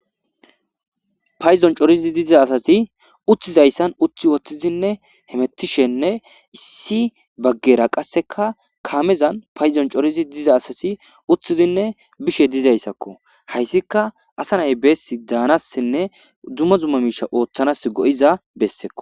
payzon corizi diza asasi uttizayssan uthi woththizinne hemettishenne issi baggera qasseka kaamezan payzon corizi diza asasi uththizinne bishe dizayssakko hayssika asa nay beessi daanassinne duma zumma miisha ooththanas go7iza bessekko.